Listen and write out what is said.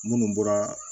Munnu bɔra